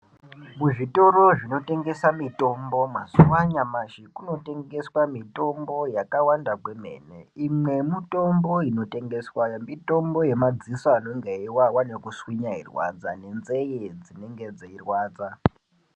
Muzvitoro zvinotengesa mutombo mazuva anyamashi kunotengeswa mitombo yakawanda kwemene. Imwe yemitombo inotengeswayo mitombo yemadziso anenge eivava nekuswinya eirwadza, nenzeye dzinenge dzeirwadza.